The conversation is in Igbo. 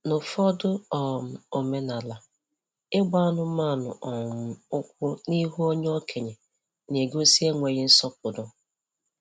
N'ụfọdụ um omenaala, ịgba anụmanụ um ụkwụ n'ihu onye okenye na-egosi enweghị nsọpụrụ